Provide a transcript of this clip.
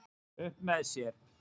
Upp með sér